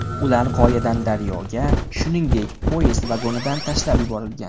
Ular qoyadan daryoga, shuningdek, poyezd vagonidan tashlab yuborilgan.